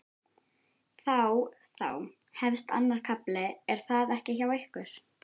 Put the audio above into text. Þá þá hefst annar kafli er það ekki hjá ykkur?